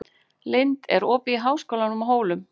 Lind, er opið í Háskólanum á Hólum?